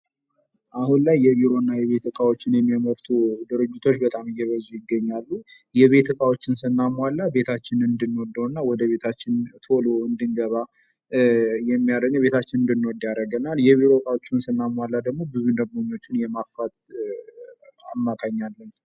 አሁን ላይ የቤትና የቢሮ እቃዎችን የሚያመርቱ ድርጅቶች እየበዙ ይገኛሉ። የቤት እቃዎችን ስናሟላ ቤታችንን እንድንወደውና ወደ ቤታችን ቶሎ እንድንገባ እቤታችንን እንድንወድ ያደርገናል የቢሮ እቃዎችን ስናሟላ ብዙ ደንበኞች የማፍራት አማካይ አለን።